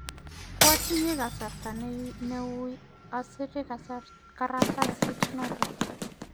kwatinye kasarta ne uiy asire karatasit notok